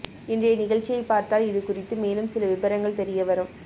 இன்றைய நிகழ்ச்சியை பார்த்தால் இதுகுறித்து மேலும் சில விபரங்கள் தெரிய வரும்